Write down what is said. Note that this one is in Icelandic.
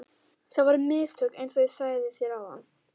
Það voru mistök einsog ég sagði þér áðan.